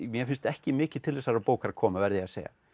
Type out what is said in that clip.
mér finnst ekki mikið til þessarar bókar koma verð ég að segja